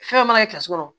Fɛn mana kɛsu kɔnɔ